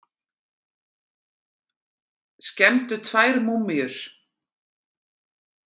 Skemmdu tvær múmíur